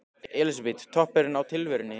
Elísabet: Toppurinn á tilverunni?